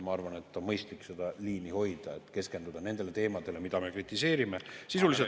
Ma arvan, et on mõistlik seda liini hoida ja keskenduda nendele teemadele, mida me kritiseerime sisuliselt.